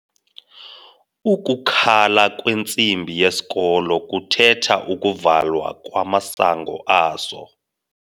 Ukukhala kwentsimbi yesikolo kuthetha ukuvalwa kamasango aso.